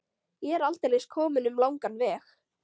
Ég er aldeilis kominn um langan veg.